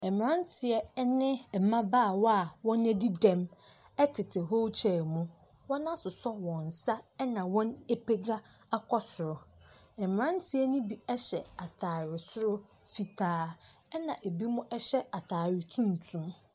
Mmeranteɛ ne mmabaawa a wɔadi dɛm tete wheelchair mu. Wɔasosɔ wɔn nsa na wɔapagya akɔ soro, na mmeranteɛ no bi hyɛ atare soro fitaa, ɛnna ebinom hyɛ atare tuntum.